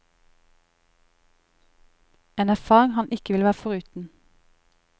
En erfaring han ikke ville vært foruten.